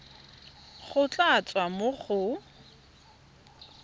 go tla tswa mo go